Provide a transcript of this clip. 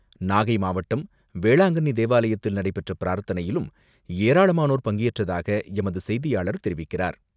நாகை மாவட்டம் வேளாங்கண்ணி தேவாலயத்தில் நடைபெற்ற பிரார்த்தனையிலும் ஏராளமானோர் பங்கேற்றதாக எமது செய்தியாளர் தெரிவிக்கிறார்.